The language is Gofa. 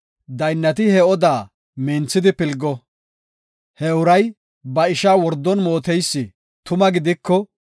Daynnati he odaa minthidi pilgo; he uray ba ishaa wordon mooteysi tuma gidiko,